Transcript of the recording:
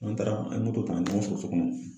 N'an taara an bɛ moto ta ka ɲɔgɔn sɔrɔ so kɔnɔ.